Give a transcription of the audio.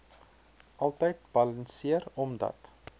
altyd balanseer omdat